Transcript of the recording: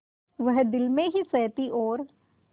वह दिल ही में सहती और